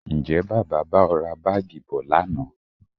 Ǹjẹ́ Bàbá bá ọ ra Báágì bọ̀ lánàá?